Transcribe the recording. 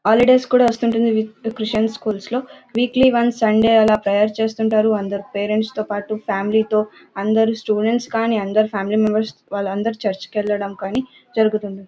Holidays కి వస్తూ ఉంటుంది క్రిస్టియన్స్ స్కూల్స్లో వీక్లీ వన్స్ సండే ఎలా ప్రేయర్ చేస్తుంటారు అందరూ పేరెంట్స్ తో పాటు ఫ్యామిలీ తో అందరూ స్టూడెంట్స్ కానీ ఫ్యామిలీ మెంబర్స్ అందరూ చర్చ్ కి వెళ్లడం జరుగుతుంది.